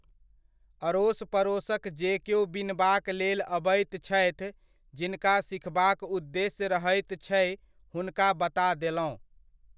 अड़ोस पड़ोसक जे केओ बिनबाक लेल अबैत छथि, जिनका सिखबाक उद्देश्य रहैत छै हुनका बता देलहुँ।